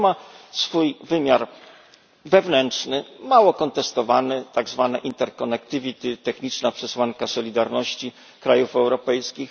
I to ma swój wymiar wewnętrzny, mało kontestowany tak zwane techniczna przesłanka solidarności krajów europejskich.